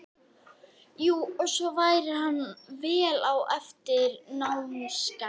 Jú, og svo væri hann vel á eftir í námsgetu.